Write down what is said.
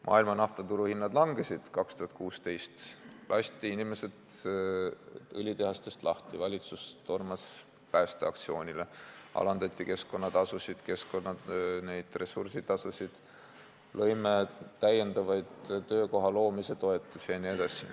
Maailmas langesid naftahinnad 2016. aastal, inimesed lasti õlitehastest lahti, valitsus tormas päästeaktsioonile, alandati keskkonnatasusid, ressursitasusid, loodi täiendavaid töökoha loomise toetusi jne.